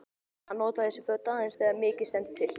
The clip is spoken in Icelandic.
Hann notar þessi föt aðeins þegar mikið stendur til.